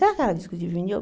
Será que era Disco de Vini?